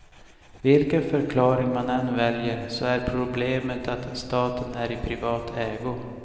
Vilken förklaring man än väljer så är problemet att staten är i privat ägo.